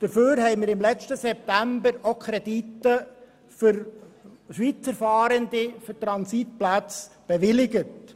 Dafür haben wir im letzten September auch Kredite für Transitplätze für Schweizer Fahrende bewilligt.